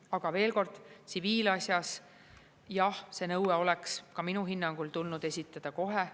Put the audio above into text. Aga veel kord, tsiviilasjas, jah, see nõue oleks ka minu hinnangul tulnud esitada kohe.